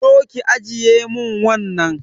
Zo ki ajiye mun wannan